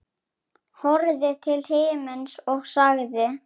Horfði til himins og sagði: